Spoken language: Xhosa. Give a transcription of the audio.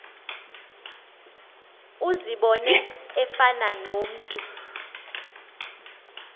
uzibone efana nomntu